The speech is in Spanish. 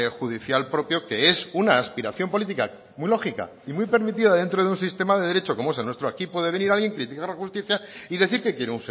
judicial propio que es una aspiración política muy lógica y muy permitida dentro de un sistema de derecho como es el nuestro aquí puede venir alguien criticar a la justicia y decir que quiere